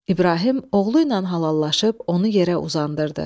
İbrahim oğluyla halallaşıb, onu yerə uzandırdı.